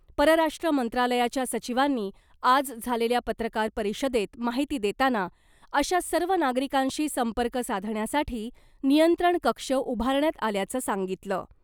परराष्ट्र मंत्रालयाच्या सचिवांनी आज झालेल्या पत्रकार परिषदेत माहिती देताना , अशा सर्व नागरिकांशी संपर्क साधण्यासाठी नियंत्रण कक्ष उभारण्यात आल्याचं सांगितलं .